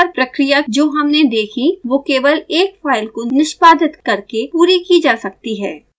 ज़्यादातर प्रक्रिया जो हमने देखी वो केवल एक फाइल को निष्पादित करके पूरी की जा सकती है